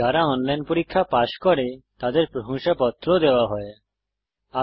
যারা অনলাইন পরীক্ষা পাস করে তাদের প্রশংসাপত্র সার্টিফিকেট ও দেওয়া হয়